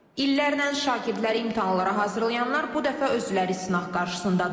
İllərlə şagirdləri imtahanlara hazırlayanlar bu dəfə özləri sınaq qarşısındadırlar.